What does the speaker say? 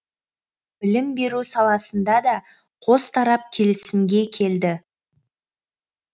білім беру саласында да қос тарап келісімге келді